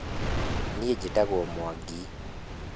Niĩ njĩtagwo Mwangi